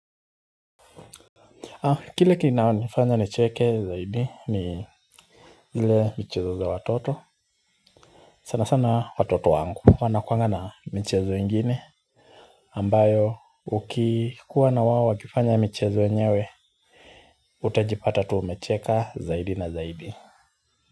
Kile kinaonifanya nicheke zaidi ni zile michezo za watoto. Sana sana watoto wangu wanakuanga na michezo ingine ambayo ukikuwa na wao wakifanya michezo yenyewe utajipata tu umecheka zaidi na zaidi.